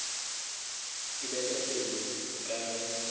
ke bete pelo ka ge